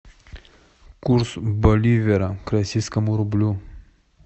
курс боливара к российскому рублю